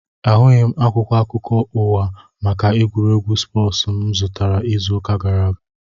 Ahụghị akwụkwọ akụkọ ụwa maka egwuregwu spoosu mụ zụtara izu ụka gara aga